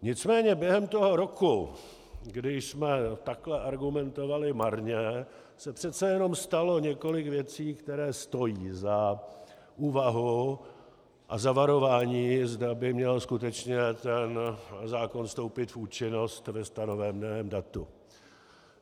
Nicméně během toho roku, kdy jsme takhle argumentovali marně, se přece jenom stalo několik věcí, které stojí za úvahu a za varování, zda by měl skutečně ten zákon vstoupit v účinnost ve stanoveném datu.